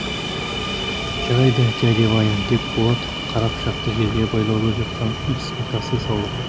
жарайды дядя ваня деп болат қара пышақты жерде байлаулы жатқан ит үстіне тастай салды